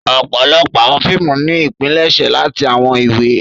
Ọpọlọpọ awọn fiimu ni ipilẹṣẹ lati awọn iwe.